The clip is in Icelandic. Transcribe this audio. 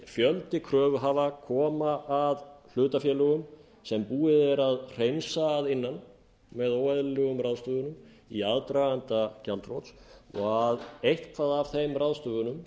fjöldi kröfuhafa koma að hlutafélögum sem búið er að hreinsa að innan með óeðlilegum ráðstöfunum að aðdraganda gjaldþrots og að eitthvað af þeim ráðstöfunum